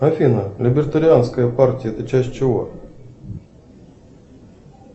афина либертарианская партия это часть чего